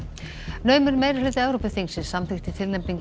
naumur meirihluti Evrópuþingsins samþykkti tilnefningu